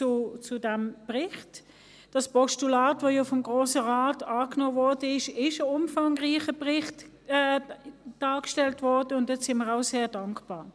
Zum Postulat, das ja vom Grossen Rat angenommen wurde , wurde ein umfangreicher Bericht erstellt, und dafür sind wir auch sehr dankbar.